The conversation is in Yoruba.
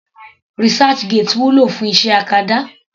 Researchgate wúlò fún iṣẹ́ acadá.